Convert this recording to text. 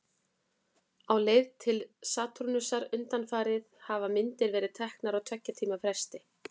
Á leið sinni til Satúrnusar undanfarið hafa myndir verið teknar á tveggja tíma fresti.